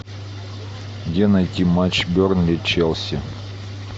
где найти матч бернли челси